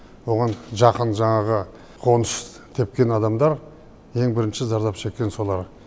оған жақын жаңағы қоныс тепкен адамдар ең бірінші зардап шеккен солар